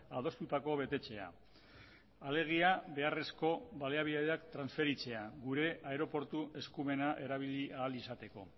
adostutako betetzea alegia beharrezko baliabideak transferitzea gure aireportu eskumena erabili ahal izateko